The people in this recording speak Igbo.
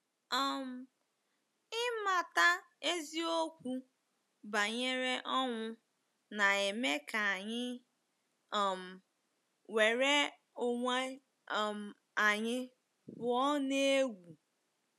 um Ịmata eziokwu banyere ọnwụ na-eme ka anyị um nwere onwe um anyị pụọ n’egwu.